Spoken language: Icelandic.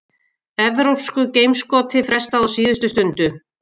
Evrópsku geimskoti frestað á síðustu stundu